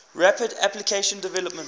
rapid application development